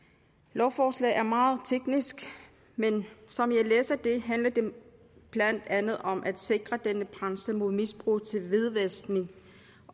lovforslaget er meget teknisk men som jeg læser det handler det blandt andet om at sikre denne branche mod misbrug til hvidvaskning